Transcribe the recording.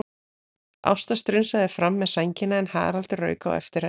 Ásta strunsaði fram með sængina en Haraldur rauk á eftir henni.